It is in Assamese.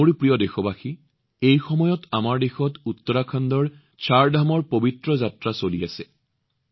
মোৰ মৰমৰ দেশবাসী এই সময়ত আমাৰ দেশত উত্তৰাখণ্ডৰ চাৰধামৰ পবিত্ৰ যাত্ৰা চলি আছে